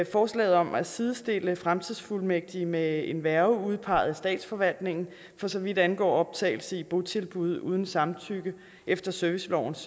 forslaget om at sidestille fremtidsfuldmægtige med en værge udpeget af statsforvaltningen for så vidt angår optagelse i botilbud uden samtykke efter servicelovens